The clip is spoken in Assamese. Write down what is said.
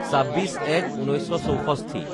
২৬/০১/১৯৬৪